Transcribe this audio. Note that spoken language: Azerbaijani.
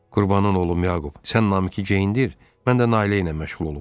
Qurbanın oğlum Yaqub, sən Namiqi geyindir, mən də Nailə ilə məşğul olum.